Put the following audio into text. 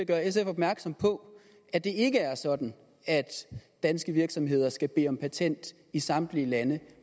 gøre sf opmærksom på at det ikke er sådan at danske virksomheder skal bede om patent i samtlige lande